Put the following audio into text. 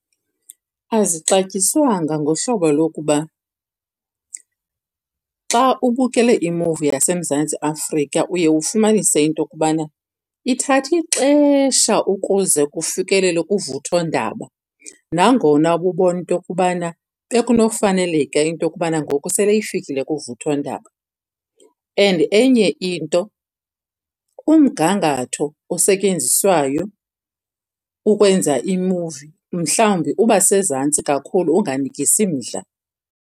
Azixatyiswanga ngohlobo lokuba xa ubukele imuvi yaseMzantsi Afrika uye ufumanise into yokubana ithatha ixesha ukuze kufikelelwe kuvuthondaba. Nangona kubonwa into yokubana bekunofaneleka into yokubana ngoku sele ifikile kuvuthondaba, and enye into umgangatho osetyenziswayo ukwenza imuvi mhlawumbi uba sezantsi kakhulu unganikisi mdla.